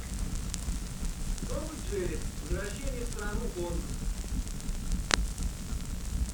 том и джерри возвращение в страну оз